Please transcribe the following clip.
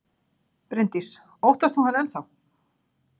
Bryndís: Óttast þú hann enn þá?